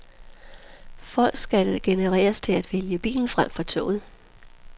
Folk skal generes til at vælge bilen fremfor toget.